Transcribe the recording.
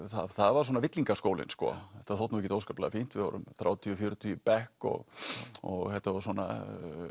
það var svona þetta þótti ekkert óskaplega fínt við vorum þrjátíu til fjörutíu í bekk og og þetta var svona